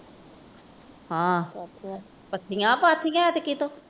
ਆਹ ਚੱਕੀਆਂ ਪਾਥੀਆਂ ਕਿਤੋਂ?